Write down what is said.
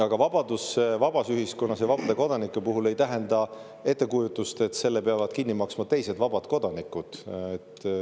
Aga vabadus vabas ühiskonnas ja vabade kodanike puhul ei tähenda seda, et kellegi erahuvi peavad kinni maksma teised vabad kodanikud.